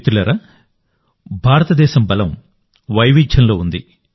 మిత్రులారాభారతదేశం బలం వైవిధ్యంలో ఉంది